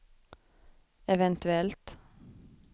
eventuellt